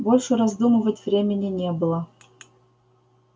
больше раздумывать времени не было